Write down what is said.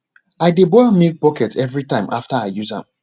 i dey boil milk bucket every time after i use am